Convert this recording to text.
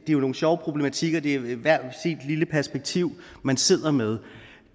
det er nogle sjove problematikker det er hvert sit lille perspektiv man sidder med